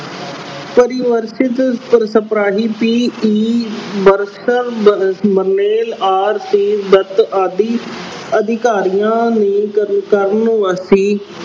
ਪਰਿਵਰਤਿਤ ਆਦਿ ਅਧਿਕਾਰੀਆਂ ਨੇ